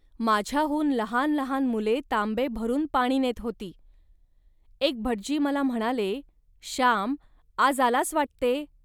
माझ्याहून लहान लहान मुले तांबे भरून पाणी नेत होती. एक भटजी मला म्हणाले, "श्याम, आज आलास वाटते